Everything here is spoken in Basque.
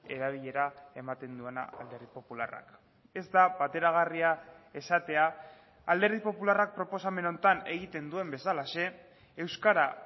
erabilera ematen duena alderdi popularrak ez da bateragarria esatea alderdi popularrak proposamen honetan egiten duen bezalaxe euskara